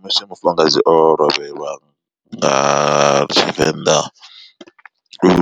Musi mufumakadzi o lovhelwa nga tshivenḓa